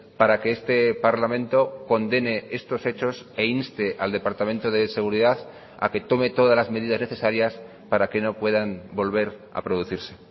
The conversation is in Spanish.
para que este parlamento condene estos hechos e inste al departamento de seguridad a que tome todas las medidas necesarias para que no puedan volver a producirse